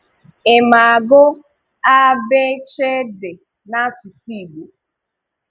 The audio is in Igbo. Ị̀ ma agụ́ a b ch d n’asụsụ́ Igbo?